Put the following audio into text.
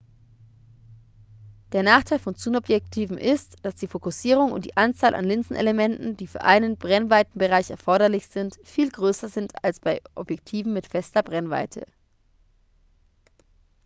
der nachteil von zoomobjektiven ist dass die fokussierung und die anzahl an linsenelementen die für einen brennweitenbereich erforderlich sind viel größer sind als bei objektiven mit fester brennweite